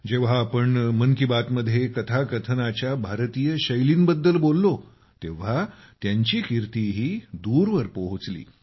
जेव्हा आम्ही मन की बात मध्ये कथाकथनाच्या भारतीय शैलींबद्दल बोललो तेव्हा त्यांची कीर्तीही दूरवर पोहोचली